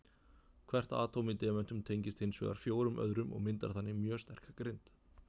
Hvert atóm í demöntum tengist hins vegar fjórum öðrum og myndar þannig mjög sterka grind.